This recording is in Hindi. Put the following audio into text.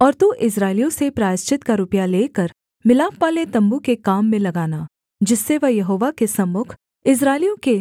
और तू इस्राएलियों से प्रायश्चित का रुपया लेकर मिलापवाले तम्बू के काम में लगाना जिससे वह यहोवा के सम्मुख इस्राएलियों के